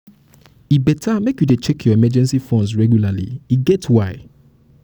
e better make you dey check your emergency funds regularly e get why